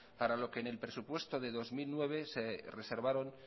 para lo que en el presupuesto de dos mil nueve se reservaron